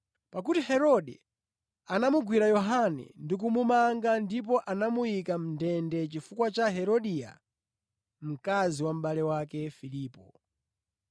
Pakuti Herode anamugwira Yohane ndi kumumanga ndipo anamuyika mʼndende chifukwa cha Herodia mkazi wa mʼbale wake Filipo.